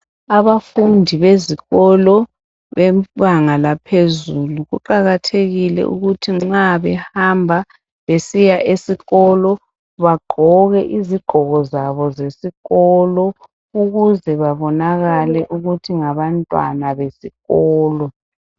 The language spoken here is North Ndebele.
Abafundi bezikolo bebanga laphezulu, kuqakathekile ukuthi nxa behamba besiya esikolo bagqoke izigqoko zabo zesikolo ukuze babonakale ukuthi ngabantwana besikolo